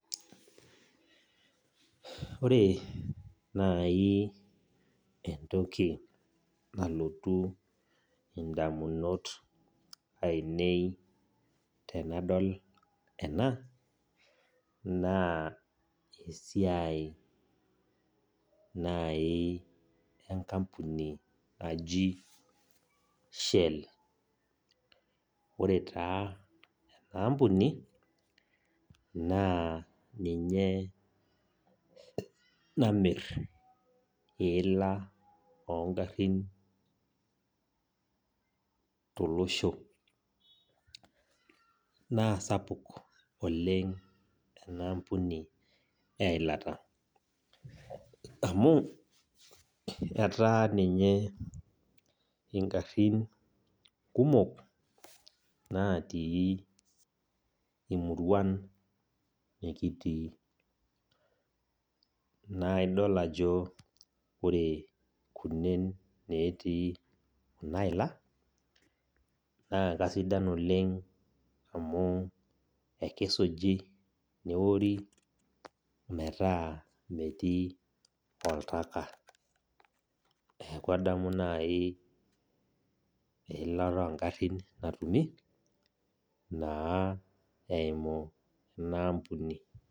Ore naaji entoki nalotu indamunot ainei tenadol ena naa esiai naaji enkapuni naji shell. Ore taa ena ampuni naa ninye taa namir iila o ing'arin tolosho. Naa sapuk oleng' ina ampuni eilata amu ninye ingarin kumok natii imuruan nekitii. Naa idol ajo ore kunen natii ena illa, naa kesidan oleng' amu enkisuji, neori metaa metii oltaka. Neaku adamu naaji eilata oo ng'arin natumi naa eimu ena ampuni.